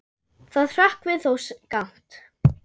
Það hrökkvi þó skammt.